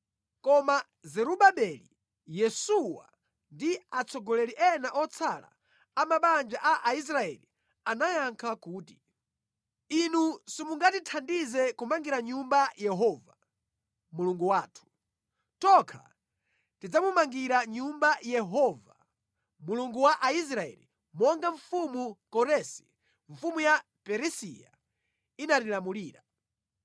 Koma Zerubabeli, Yesuwa ndi atsogoleri ena otsala a mabanja a Aisraeli anayankha kuti, “Inu simungatithandize kumangira Nyumba Yehova, Mulungu wathu. Tokha tidzamumangira Nyumba Yehova, Mulungu wa Aisraeli, monga mfumu Koresi, mfumu ya Perisiya inatilamulira.”